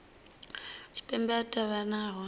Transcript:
tshipembe a nga vha hone